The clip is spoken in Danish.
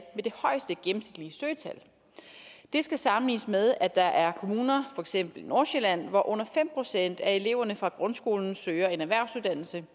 med det højeste gennemsnitlige søgetal det skal sammenlignes med at der er kommuner for eksempel i nordsjælland hvor under fem procent af eleverne fra grundskolen søger en erhvervsuddannelse